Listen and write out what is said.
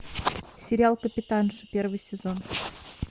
сериал капитанша первый сезон